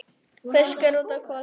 Fiskur út, kol heim.